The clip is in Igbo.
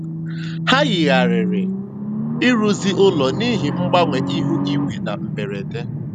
Ha yigharịrị ịrụzi ụlọ n'ihi mgbanwe ihu igwe na mberede.